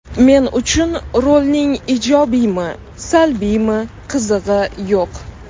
Men uchun rolning ijobiymi, salbiymi qizig‘i yo‘q.